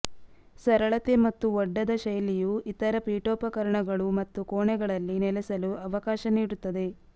ಸರಳತೆ ಮತ್ತು ಒಡ್ಡದ ಶೈಲಿಯು ಇತರ ಪೀಠೋಪಕರಣಗಳು ಮತ್ತು ಕೋಣೆಗಳಲ್ಲಿ ನೆಲೆಸಲು ಅವಕಾಶ ನೀಡುತ್ತದೆ